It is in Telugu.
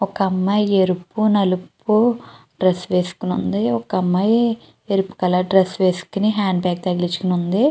ఒక అమ్మాయి ఎరుపు నలుపు డ్రెస్ వేసుకుని ఉంది. ఒక అమ్మాయి ఎరుపు డ్రెస్ వేసుకుని హ్యాండ్ బాగ్ తగిలించుకొని ఉంది.